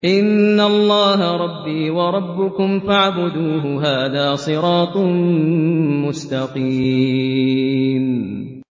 إِنَّ اللَّهَ رَبِّي وَرَبُّكُمْ فَاعْبُدُوهُ ۗ هَٰذَا صِرَاطٌ مُّسْتَقِيمٌ